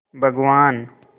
भगवान्